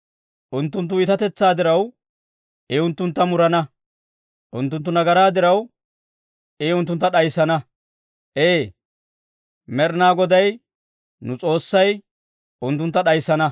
Unttunttu iitatetsaa diraw, I unttuntta murana; unttunttu nagaraa diraw, I unttuntta d'ayissana; ee, Med'inaa Goday nu S'oossay unttuntta d'ayissana.